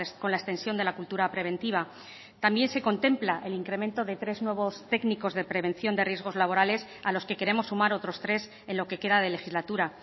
con la extensión de la cultura preventiva también se contempla el incremento de tres nuevos técnicos de prevención de riesgos laborales a los que queremos sumar otros tres en lo que queda de legislatura